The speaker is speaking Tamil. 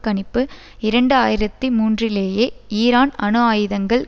கணிப்பு இரண்டு ஆயிரத்தி மூன்றிலேயே ஈரான் அணுஆயுதங்கள்